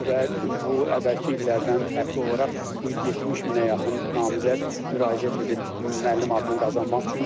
və bu əvvəlki illərdən fərqli olaraq bu il 70 minə yaxın namizəd müraciət edib müəllim adını qazanmaq üçün.